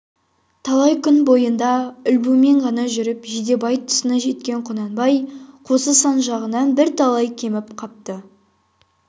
талай күн бойында ілбумен ғана жүріп жидебай тұсына жеткен құнанбай қосы сан жағынан бірталай кеміп қапты